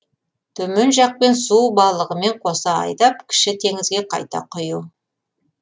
төмен жақпен су балығымен қоса айдап кіші теңізге қайта құю